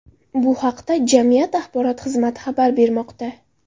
Bu haqda jamiyat axborot xizmati xabar bermoqda .